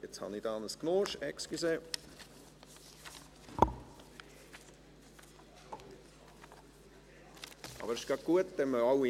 Wer den Antrag Imboden/Hässig annehmen will, stimmt Ja, wer diesen ablehnt, stimmt Nein.